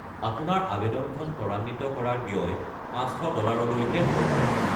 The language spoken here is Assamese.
আপোনাৰ আৱেদনখন ত্বৰান্বিত কৰাৰ ব্য়য় ৫০০ ডলাৰলৈকে হ'ব পাৰে।